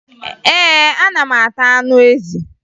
Ee, ana m ata anụ ezi